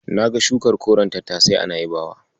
Na ga shukar koren tattasai a Na'ibawa.